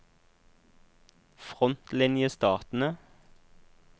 frontlinjestatene